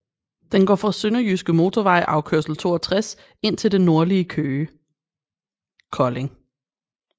Den går fra Sønderjyske Motorvej afkørsel 62 ind til det nordlige Kolding